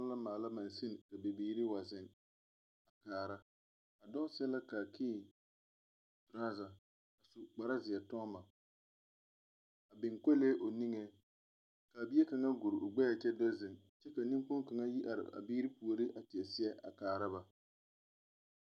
Noba la maala mansine ka bibiiri wa zeŋ kaara a dɔɔ seɛ la kaakii trɔza a su kparizeɛ toŋma a biŋ kolee o niŋeŋ kaa bie kaŋa guri o gbɛɛ kyɛ do ziŋ kyɛ ka neŋkpoŋ kaŋa yi are a biiri a puoriŋ kaara ba.